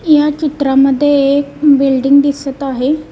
या चित्रामध्ये एक बिल्डिंग दिसत आहे.